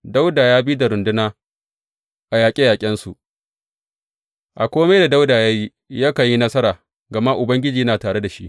Dawuda ya bi da runduna a yaƙe yaƙensu A kome da Dawuda ya yi yakan yi nasara gama Ubangiji yana tare da shi.